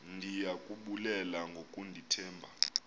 ndiya kubulela ngokundithemba